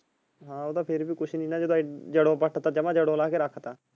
ਹਾਂ ਉਹ ਤਾਂ ਫਿਰ ਵੀ ਕੁੱਛ ਨਹੀਂ ਜਦੋਂ ਜੜੋਂ ਪੱਟ ਤਾ ਜਮਾ ਜੜੋਂ ਲਾਹ ਕ ਰੱਖਤਾ।